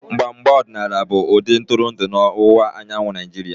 Mgba mgba ọdịnaala bụ-ụdị ntụrụndụ na ọwụwa anyanwụ Naijiria.